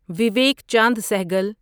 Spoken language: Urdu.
ویویک چاند سہگل